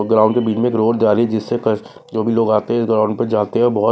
ground के बीच में रोड जा रही हैजिससे जो भी लोग आते हैं ग्राउंड प जाते हैंबहुत--